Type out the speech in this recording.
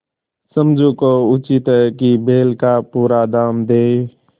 समझू को उचित है कि बैल का पूरा दाम दें